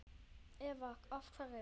Eva: Af hverju?